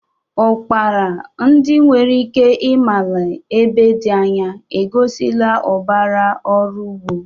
Ukpara, ndị nwere ike ịmali ebe dị anya, egosila ụbara ọrụ ugbo.